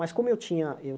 Mas como eu tinha eu